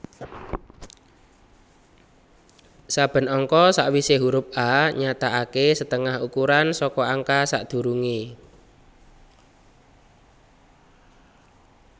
Saben angka sawisé huruf A nyatakakésetengah ukuran saka angka sadurungé